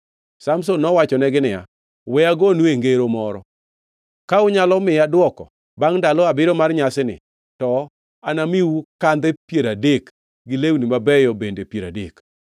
Samson nowachonegi niya, “We agonue ngero moro. Ka unyalo miya dwoko bangʼ ndalo abiriyo mar nyasini, to anamiu kandhe piero adek gi lewni mabeyo bende piero adek.”